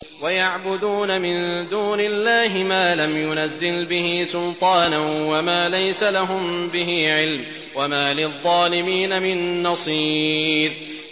وَيَعْبُدُونَ مِن دُونِ اللَّهِ مَا لَمْ يُنَزِّلْ بِهِ سُلْطَانًا وَمَا لَيْسَ لَهُم بِهِ عِلْمٌ ۗ وَمَا لِلظَّالِمِينَ مِن نَّصِيرٍ